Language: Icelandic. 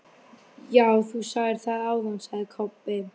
Já, þú sagðir það áðan, sagði Kobbi.